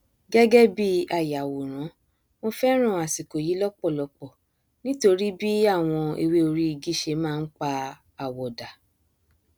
gẹgẹ bí ayàwòrán mo fẹràn àsìkò yìí lọpọlọpọ nítorí bí àwọn ewé orí igi ṣe máa npa àwọ dà